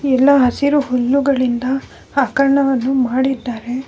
ಎಲ್ಲ ಹಸಿರು ಹುಲ್ಲುಗಳಿಂದ ಆಕರ್ಣವನ್ನು ಮಾಡಿದ್ದಾರೆ .